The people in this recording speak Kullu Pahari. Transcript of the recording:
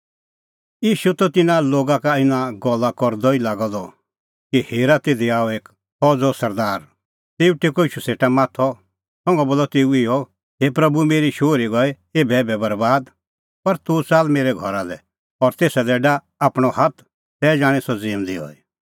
ईशू त तिन्नां लोगा का इना गल्ला करदअ ई लागअ द कि हेरा तिधी आअ एक फौज़ो सरदार तेऊ टेक्कअ ईशू सेटा माथअ संघा बोलअ तेऊ इहअ हे प्रभू मेरी शोहरी गई एभैएभै बरैबाद पर तूह च़ाल्ल मेरै घरा लै और तेसा दी डाह आपणअ हाथ तै जाणीं सह ज़िऊंदी हई